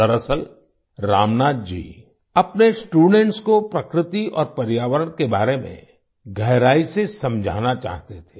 दरअसल रामनाथ जी अपने स्टूडेंट्स को प्रकृति और पर्यावरण के बारे में गहराई से समझाना चाहते थे